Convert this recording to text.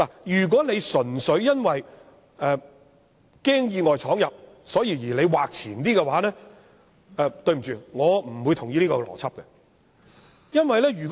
如果純粹因為害怕意外闖入而把禁區劃得更前，對不起，我不會同意這個邏輯。